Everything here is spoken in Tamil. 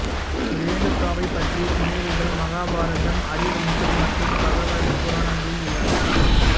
ரேணுகாவைப் பற்றிய புனைவுகள் மகாபாரதம் ஹரிவம்சம் மற்றும் பகவத புராணங்களில் உள்ளன